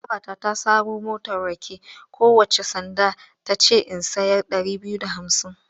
Babata ta saro motar rake kowacce sanda ɗaya ta ce in sayar ɗari biyu da hamsin.